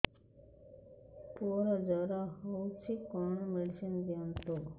ପୁଅର ଜର ହଉଛି କଣ ମେଡିସିନ ଦିଅନ୍ତୁ